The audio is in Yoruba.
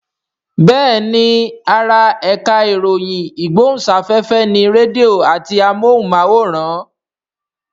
Bẹ́ẹ̀ni ara ẹ̀ka ìròyìn ìgbóhùnsáfẹ́fẹ́ ni rédíò àti amóhùnmáwòrán